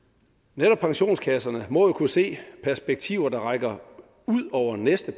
netop pensionskasserne må jo kunne se perspektiver der rækker ud over næste